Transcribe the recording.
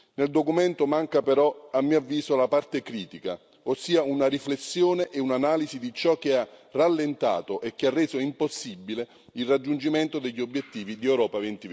Nel documento manca però, a mio avviso, la parte critica, ossia una riflessione e un'analisi di ciò che ha rallentato e che ha reso impossibile il raggiungimento degli obiettivi di Europa